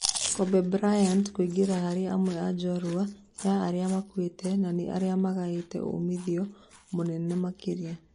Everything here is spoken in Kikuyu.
Kobe Bryant kũingĩra harĩ amwe a njorua yarĩa makuĩte nanĩ arĩa magĩa umithio mũnene makĩria